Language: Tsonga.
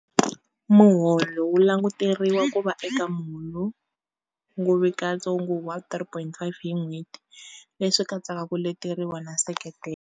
Muholo wu languteriwa ku va eka muholovugimatsongo wa R3 500.00 hi n'hweti, leswi katsaka ku leteriwa na nseketelo.